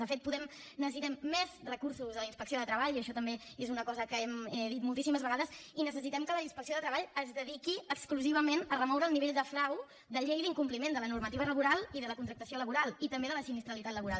de fet necessitem més recursos a la inspecció de treball i això també és una cosa que hem dit moltíssimes vegades i necessitem que la inspecció de treball es dediqui exclusivament a remoure el nivell de frau de llei d’incompliment de la normativa laboral i de la contractació laboral i també de la sinistralitat laboral